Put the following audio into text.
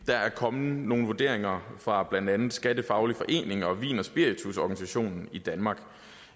er kommet nogle vurderinger fra blandt andet skattefaglig forening og vin og spiritus organisationen i danmark